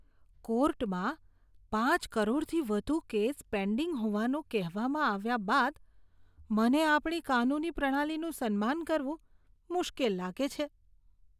કોર્ટમાં ખાંચ કરોડથી વધુ કેસ પેન્ડિંગ હોવાનું કહેવામાં આવ્યા બાદ મને આપણી કાનૂની પ્રણાલીનું સન્માન કરવું મુશ્કેલ લાગે છે.